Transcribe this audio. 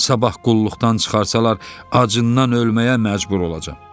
Sabah qulluqdan çıxarsalar acından ölməyə məcbur olacam.